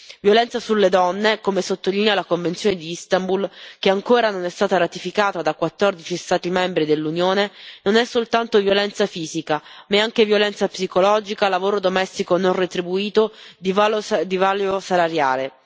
La violenza sulle donne, come sottolinea la convenzione di Istanbul, che ancora non è stata ratificata da 14 Stati membri dell'Unione, non è soltanto violenza fisica, ma è anche violenza psicologica, lavoro domestico non retribuito, divario salariale.